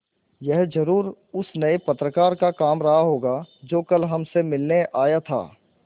यह ज़रूर उस नये पत्रकार का काम रहा होगा जो कल हमसे मिलने आया था